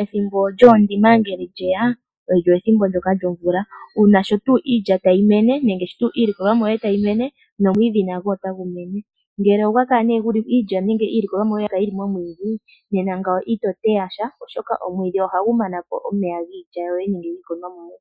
Ethimbo lyondima ngele lyeya olyo ethimbo ndyoka lyomvula una shotu iilya tayi mene nenge sho iilikolomwa tayimene nomwidhi nago otagu mene ngele ogwa kala neh iilya nenge iilikolomwa yoye oya kala neh yili momwidhi nena ngao ito teyasha oshoka omwidhi ohagu manapo omeya giilya yoye nenge yiilikolomwa yoye